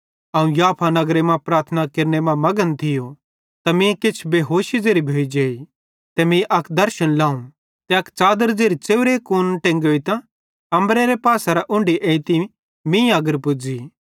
अवं याफा नगर मां प्रार्थना केरने मां मघन थियो त मीं किछ बेहोशी ज़ेरी भोइजेइ ते मीं अक दर्शन लाव ते अक च़ादर ज़ेरी च़ेव्रे कूना टेंगोइतां अम्बरेरे पासेरां उन्ढी एइतां मीं तगर पुज़ी